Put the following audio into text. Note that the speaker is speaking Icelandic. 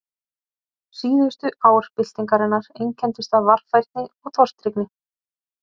Síðustu ár byltingarinnar einkenndust af varfærni og tortryggni.